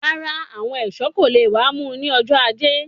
Rárá àwọn ẹṣọ kò lè wà mú ní ọjọ ajé